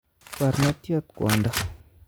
Barnotyot kwondo